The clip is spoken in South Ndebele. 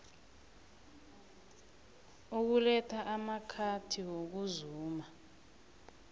ukuletha amakhiti wokuzuma